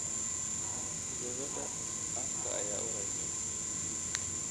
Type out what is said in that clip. Gabadha afka ayaa uraysa